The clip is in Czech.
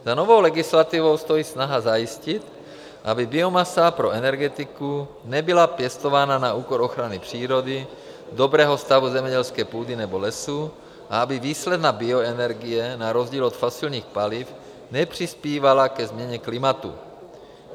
Za novou legislativou stojí snaha zajistit, aby biomasa pro energetiku nebyla pěstována na úkor ochrany přírody, dobrého stavu zemědělské půdy nebo lesů a aby výsledná bioenergie - na rozdíl od fosilních paliv - nepřispívala ke změně klimatu.